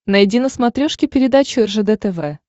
найди на смотрешке передачу ржд тв